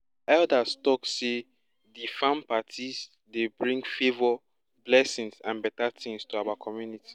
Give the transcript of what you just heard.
our elders talk say di farm parties dey bring favour blessings and better things to our community